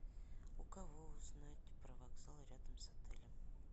у кого узнать про вокзал рядом с отелем